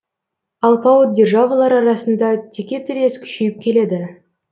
алпауыт державалар арасында текетірес күшейіп келеді